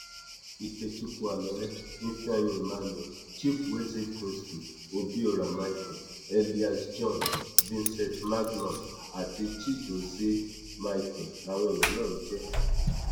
ikechukwu alọrẹ ifeanyi emmanuel chibueze kingsley obiora micheal elias john vincent magnus àti chigozie micheal làwọn èèyàn náà ń jẹ